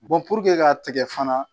k'a tigɛ fana